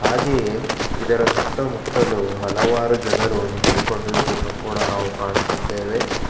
ಹಾಗೆಯೇ ಇದರ ಸುತ್ತಮುತ್ತಲು ಹಲವಾರು ಜನರು ನಿಂತು ಕೊಂಡಿರುವುದನ್ನು ಕೂಡ ನಾವು ಕಾಣುತ್ತಿದ್ದೇವೆ.